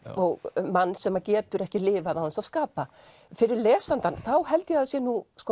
um mann sem getur ekki lifað án þess að skapa fyrir lesandann þá held ég að það sé